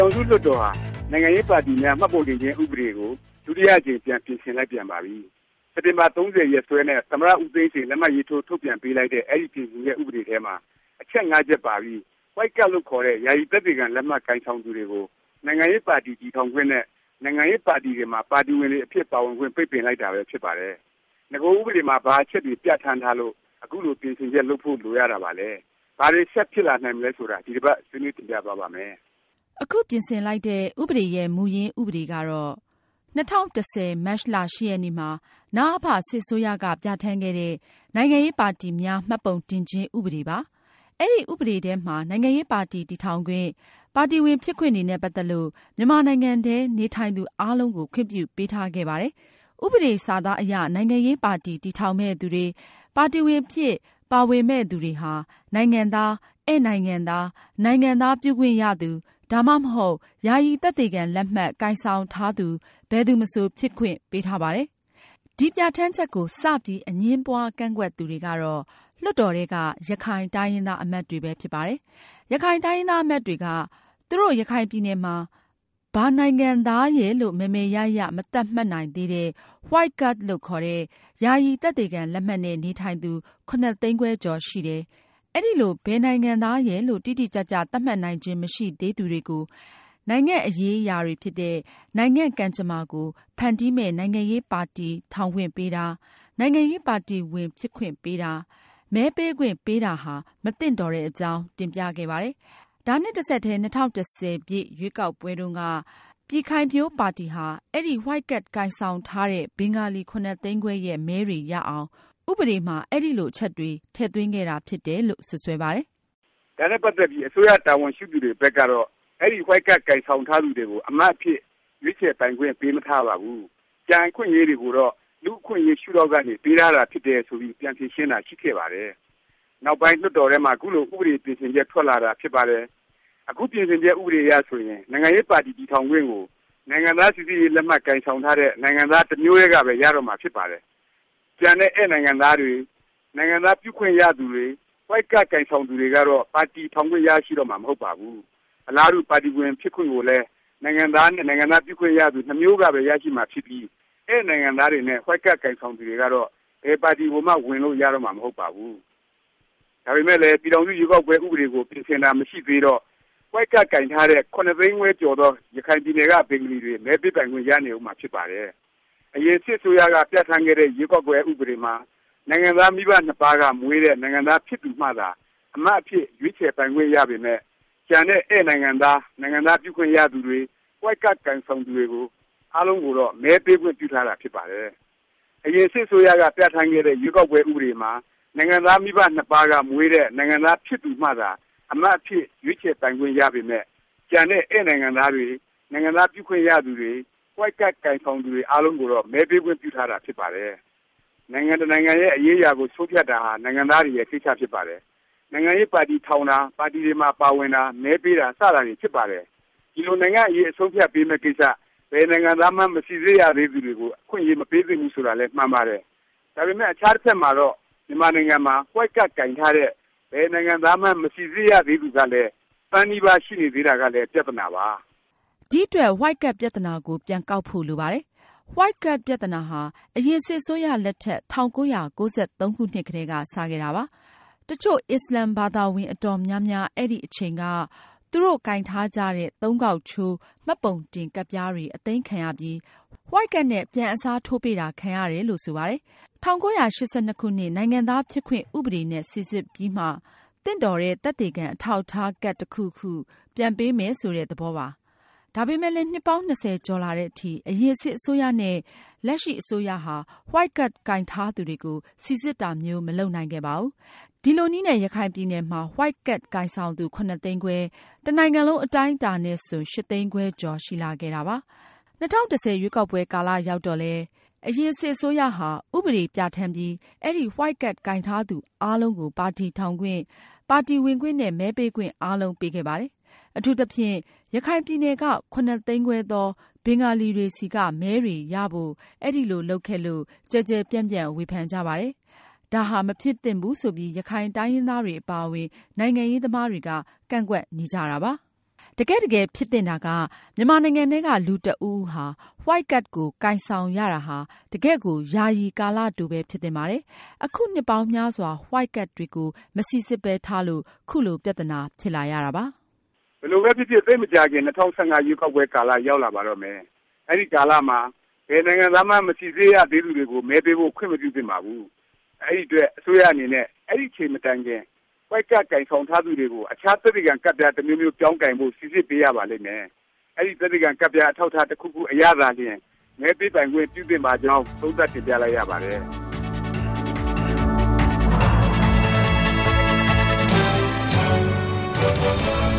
ောင်စုလွှတ်တော်ဟာ နိုင်ငံရေးပါတီများ မှတ်ပုံတင်ခြင်း ဥပဒေကို ဒုတိယ အကြမ် ပြန်ပြင်ဆင်လိုက်ပြန်ပါပြီ။ စက်တင်ဘာ ၃၀ ရက်စွဲနဲ့ သမ္မတ ဦးသိန်းစိန် လက်မှတ်ရေးထိုး ထုတ်ပြန်ပေးလိုက်တဲ့ အဲဒီ ပြင်ဆင်ချက် ဥပဒေထဲမှာ အချက် ချက်ပါပြီး White Card လို့ခေါ်တဲ့ ယာယီ သက်သေခံလက်မှတ် ကိုင်ဆောင်သူတွေကို နိုင်ငံရေးပါတီ တည်ထောင်ခွင့်နဲ့ နိုင်ငံရေးပါတီတွေမှာ ပါတီဝင်တွေအဖြစ် ပါဝင်ခွင့် ပိတ်ပင်လိုက်တာပဲ ဖြစ်ပါတယ်။ နဂို ဥပဒေ မှာ ဘာအချက်တွေ ပြဌာန်းထားလို့ အခုလို ပြင်ဆင်ချက် လုပ်ဖို့ လိုရတာပါလဲ၊ ဘာတွေ ဆက်ဖြစ်လာနိုင်မလဲ ဆိုတာ ဒီတစ်ပါတ် ဆွေးနွေးတင်ပြသွားပါ့မယ်။ အခု ပြင်ဆင်လိုက်တဲ့ ဥပဒေရဲ့ မူရင်းဥပဒေကတော့ ၂၀၁၀ မတ်လ ၈ ရက်နေ့မှာ နအဖ စစ်အစိုးရက ပြဌာန်းခဲ့တဲ့ “ နိုင်ငံရေးပါတီများ မှတ်ပုံတင်ခြင်း ဥပဒေ” ပါ။ အဲဒီ ဥပဒေ ထဲမှာ နိုင်ငံရေး ပါတီ တည်ထောင်ခွင့်၊ ပါတီဝင် ဖြစ်ခွင့်တွေနဲ့ ပါတ်သက်ပြီး မြန်မာနိုင်ငံထဲ နေထိုင်သူ အားလုံးကို ခွင့်ပြုပေးထားခဲ့ပါတယ်။ ဥပဒေ စာသားအရ နိုင်ငံရေးပါတီ တည်ထောင်မယ့် သူတွေ၊ ပါတီဝင် အဖြစ် ပါဝင်မယ့် သူတွေဟာ နိုင်ငံသား၊ ဧည့်နိုင်ငံသား၊ နိုင်ငံသားပြုခွင့်ရသူ ဒါမှမဟုတ် ယာယီ သက်သေခံလက်မှတ် ကိုင်ဆောင်ထားသူ ဘယ်သူမဆို ဖြစ်ခွင့်ပေးထားပါတယ်။ ဒီ ပြဌာန်းချက်ကို စ ပြီး အငြင်းပွား ကန့်ကွက်သူတွေကတော့ လွှတ်တော်ထဲက ရခိုင်တိုင်းရင်းသား အမတ်တွေပဲ ဖြစ်ပါတယ်။ ရခိုင်တိုင်းရင်းသား အမတ်တွေက သူတို့ ရခိုင်ပြည်နယ်မှာ ဘာနိုင်ငံသားရယ်လို့ မယ်မယ်ရရ မသတ်မှတ်နိုင်သေးတဲ့ White Card လို့ခေါ်တဲ့ ယာယီ သက်သေခံလက်မှတ်နဲ့ နေထိုင်သူ ၇ သိန်းခွဲကျော် ရှိတယ်။ အဲဒီလို ဘယ်နိုင်ငံသားရယ်လို့ တိတိကျကျ သတ်မှတ်နိုင်ခြင်း မရှိသေးသူတွေကို နိုင်ငံ့အရေးအရာ တွေဖြစ်တဲ့ နိုင်ငံ့ကံကြမ္မာ ကိုဖန်တီးမယ့် နိုင်ငံရေးပါတီ ထောင်ခွင့်ပေးတာ၊ နိုင်ငံရေးပါတီဝင် ဖြစ်ခွင့်ပေးတာ၊ မဲပေးခွင့်ပေးတာဟာ မသင့်တော်တဲ့အကြောင်း တင်ပြခဲ့ကြပါတယ်။ ဒါနဲ့ တဆက်တည်း ၂၀၁၀ ရွေးကောက်ပွဲတုန်းက ပြည်ခိုင်ဖြိုးပါတီဟာ အဲဒီ White Card ကိုင်ဆောင်ထားတဲ့ ဘင်္ဂလီ ၇ သိန်းခွဲရဲ့ မဲတွေ ရအောင် ဥပဒေမှာ အဲလို အချက်တွေ ထည့်သွင်းခဲ့တာ ဖြစ်တယ်လို့ စွတ်စွဲပါတယ်။ ဒါနဲ့ ပါတ်သက်ပြီး အစိုးရ တာဝန်ရှိသူတွေဘက်ကတော့ အဲဒီ White Card ကိုင်ဆောင်ထားသူတွေကို အမတ်အဖြစ် ရွေးချယ်ခံပိုင်ခွင့် ပေးမထားပါဘူး၊ ကျန်အခွင့်အရေး တွေကိုတော့ လူ့အခွင့်အရေး ရှုဒေါင့်ကနေ ပေးထားတာဖြစ်တယ် ဆိုပြီး ပြန်ဖြေရှင်းတာ ရှိခဲ့ပါတယ်။ နောက်ပိုင်း လွှတ်တော်ထဲမှာ ခုလို ဥပဒေ ပြင်ဆင်ချက် ထွက်လာတာ ဖြစ်ပါတယ်။ အခု ပြင်ဆင်ချက် ဥပဒေအရ ဆိုရင် နိုင်ငံရေးပါတီ တည်ထောင်ခွင့်ကို နိုင်ငံသားစိစစ်ရေး လက်မှတ် ကိုင်ဆောင်ထားတဲ့ နိုင်ငံသား တစ်မျိုးတည်းကပဲ ရတော့မှာဖြစ်ပါတယ်။ ကျန်တဲ့ ဧည့်နိုင်ငံသားတွေ၊ နိုင်ငံသား ပြုခွင့်ရသူတွေ White Card ကိုင်ဆောင်သူတွေကတော့ ပါတီထောင်ခွင့် ရှိတော့မှာ မဟုတ်ပါဘူး။ အလားတူ ပါတီဝင် ဖြစ်ခွင့်ကိုလည်း နိုင်ငံသားနဲ့ နိုင်ငံသားပြုခွင့် ရသူ နှစ်မျိုးကပဲ ရရှိမှာဖြစ်ပြီး ဧည့်နိုင်ငံသားတွေနဲ့ White Card ကိုင်ဆောင်သူတွေကတော့ ဘယ်ပါတီကိုမှ ဝင်လို့ ရတော့မှာ မဟုတ်ပါဘူး။ ဒါပေမယ့်လည်း ပြည်ထောင်စု ရွေးကောက်ပွဲ ဥပဒေကို ပြင်ဆင်တာ မရှိသေးတော့ White Card ကိုင်ထားတဲ့ ၇ သိန်းခွဲကျော်သော ရခိုင်ပြည်နယ်က ဘင်္ဂလီတွေ မဲပေးပိုင်ခွင့် ရနေဦးမှာ ဖြစ်ပါတယ်။ အရင် စစ်အစိုးရက ပြဌာန်းခဲ့တဲ့ ရွေးကောက်ပွဲ ဥပဒေမှာ နိုင်ငံသား မိဘ နှစ်ပါးက မွေးတဲ့ နိုင်ငံသား ဖြစ်သူမှသာ အမတ်အဖြစ် ရွေးချယ် ခံပိုင်ခွင့် ရပေမယ့်၊ ကျန်တဲ့ ဧည့်နိုင်ငံသားတွေ၊ နိုင်ငံသားပြုခွင့်ရသူတွေ၊ White Card ကိုင်ဆောင်သူတွေ အားလုံးကိုတော့ မဲပေးခွင့် ပြုထားတာ ဖြစ်ပါတယ်။ နိုင်ငံတစ်နိုင်ငံရဲ့ အရေးအရာကို ဆုံးဖြတ်တာဟာ နိုင်ငံသားတွေရဲ့ ကိစ္စဖြစ်ပါတယ်။ နိုင်ငံရေးပါတီ ထောင်တာ၊ ပါတီတွေမှာ ပါဝင်တာ၊ မဲပေးတာ စတာတွေဖြစ်ပါတယ်။ ဒီလို နိုင်ငံ့အရေး အဆုံးအဖြတ် ပေးမယ့်ကိစ္စ ဘယ်နိုင်ငံသားမှန်း မစိစစ်ရသေးသူတွေကို အခွင့်အရေး မပေးသင့်ဘူး ဆိုတာလည်း မှန်ပါတယ်။ ဒါပေမယ့် အခြားတစ်ဖက်မှာတော့ မြန်မာနိုင်ငံမှာ White Card ကိုင်ထားတဲ့ ဘယ်နိုင်ငံသားမှန်း မစိစစ်ရသေးသူကလည်း တစ်သန်းနီးပါး ရှိနေသေးတာကလည်း ပြသနာပါ။ ဒီအတွက် White Card ပြသနာကို ပြန်ကောက်ဖို့ လိုပါတယ်။ White Card ပြသနာဟာ အရင် စစ်အစိုးရ လက်ထက် ၁၉၉၃ ကတည်းက စ ခဲ့တာပါ။ တစ်ချို့ အစ္စလာမ်ဘာသာဝင် အတော်များများ အဲဒီ အချိန်က သူတို့ကိုင်ထားကြတဲ့ သုံးခေါက်ချိုး မှတ်ပုံတင်ကဒ်ပြားတွေ အသိမ်းခံရပြီး White Card နဲ့ ပြန်အစားထိုးပေးတာ ခံရတယ်လို့ ဆိုပါတယ်။ ၁၉၈၂ နိုင်ငံသားဖြစ်ခွင့် ဥပဒေနဲ့ စိစစ်ပြီးမှ သင့်တော်တဲ့ သက်သေခံ အထောက်အထား ကဒ် တစ်ခုခု ပြန်ပေးမယ် ဆိုတဲ့ သဘောပါ။ ဒါပေမယ့်လည်း နှစ်ပေါင်း ၂၀ ကျော်လာတဲ့အထိ အရင်စစ်အစိုးရနဲ့ လက်ရှိ အစိုးရဟာ White Card ကိုင်ထားသူတွေကို စိစစ်တာမျိုး မလုပ်နိုင်ခဲ့ပါဘူး။ ဒီလိုနည်းနဲ့ ရခိုင်ပြည်နယ်မှာ White Card ကိုင်ဆောင်သူ ၇ သိန်းခွဲ၊ တစ်နိုင်ငံလုံး အတိုင်းအတာ နဲ့ဆို ၈ သိန်းခွဲကျော် ရှိလာခဲ့တာပါ။ ၂၀၁၀ ရွေးကောက်ပွဲ ကာလ ရောက်တော့လည်း အရင် စစ်အစိုးရဟာ ဥပဒေ ပြဌာန်းပြီး အဲဒီ White Card ကိုင်ထားသူ အားလုံးကို ပါတီထောင်ခွင့်၊ ပါတီဝင်ခွင့်နဲ့ မဲပေးခွင့် အားလုံးပေးခဲ့ပါတယ်။ အထူးသဖြင့် ရခိုင်ပြည်နယ်က ၇ သိန်းခွဲသော ဘင်္ဂလီတွေဆီက မဲတွေ ရဖို့ အဲလို လုပ်ခဲ့လို့ ကျယ်ကျယ်ပြန့်ပြန့် ဝေဖန်ကြပါတယ်။ ဒါဟာ မဖြစ်သင့်ဘူး ဆိုပြီး ရခိုင်တိုင်းရင်းသားတွေ အပါအဝင် နိုင်ငံရေးသမားတွေက ကန့်ကွက်နေကြတာ ဖြစ်ပါတယ်။ တကယ့်တကယ် ဖြစ်သင့်တာက မြန်မာနိုင်ငံထဲက လူတစ်ဦးဦးဟာ White Card ကို ကိုင်ဆောင်ရတာဟာ တကယ့်ကို ယာယီ ကာလတို ပဲ ဖြစ်သင့်ပါတယ်။ အခု နှစ်ပေါင်းများစွာ White Card တွေကို မစိစစ်ပဲ ထားလို့ ခုလို ပြသနာ ဖြစ်လာရတာပါ။ ဘယ်လိုပဲဖြစ်ဖြစ် သိပ်မကြာခင် ၂၀၁၅ ရွေးကောက်ပွဲ ကာလ ရောက်လာပါတော့မယ်။ အဲဒီ ကာလမှာ ဘယ်နိုင်ငံသားမှန်း မစိစစ်ရသေးသူတွေကို မဲပေးဖို့ ခွင့်မပြုသင့်ပါဘူး။ ဒီအတွက် အစိုးရအနေနဲ့ အဲဒီ အချိန်မတိုင်ခင် White Card ကိုင်ဆောင်ထားသူတွေကို အခြား သက်သေခံ ကဒ်ပြား တစ်မျိုးမျိုး ပြောင်းကိုင်ဖို့ စိစစ်ပေးရပါလိမ့်မယ်။ အဲဒီ သက်သေခံ ကဒ်ပြား အထောက်အထား တစ်ခုခု အရသာလျင် မဲပေးပိုင်ခွင့်ပြုသင့်ပါကြောင်း သုံးသပ်တင်ပြလိုက်ရပါတယ်။